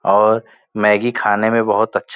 और मैगी खाने में बहुत अच्छा --